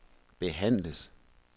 behandles